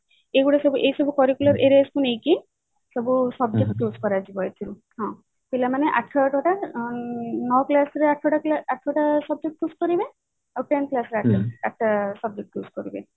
ଏଇଗୁଡା ସବୁ ଏଇ ସବୁ curricular areas କୁ ନେଇକି ସବୁ subject choose କରାଯିବ ଏଇଥିରୁ ହଁ ପିଲା ମାନେ ଆଠ ଆଠ ଟା ନଅ class ରେ ଆଠ ଟା ଆଠ ଟା subject choose କରିବେ ଆଉ ten classରେ ଆଠ ଆଠଟା subject choose କରିବେ